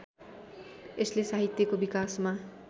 यसले साहित्यको विकासमा